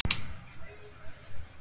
Ingimar Eydal